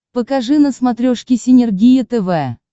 покажи на смотрешке синергия тв